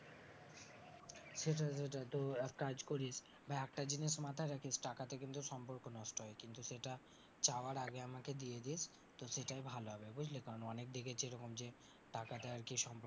সেটাই সেটাই তো এক কাজ করিস ভাই একটা জিনিস মাথায় রাখিস টাকাতে কিন্তু সম্পর্ক নষ্ট হয়, কিন্তু সেটা চাওয়ার আগে আমাকে দিয়ে দিস তো সেটাই ভালো হবে বুঝলি, কারণ অনেক দেখেছি এরকম যে টাকাতে আরকি সম্পর্ক,